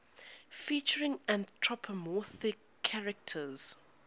featuring anthropomorphic characters